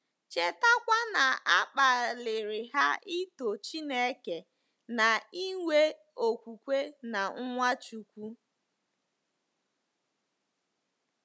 Chetakwa na a kpaliri ha ito Chineke na inwe okwukwe na Nwachukwu.